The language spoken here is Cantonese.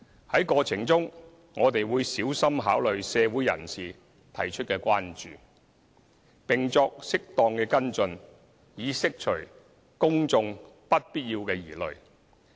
在過程中，我們會小心考慮社會人士提出的關注，並作適當的跟進，以釋除公眾不必要的疑慮。